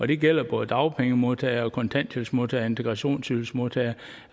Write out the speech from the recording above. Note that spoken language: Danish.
det gælder både dagpengemodtagere kontanthjælpsmodtagere og integrationsydelsesmodtagere